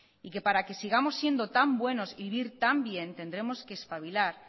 y que para que sigamos siendo tan buenos y vivir tan bien tendremos que espabilar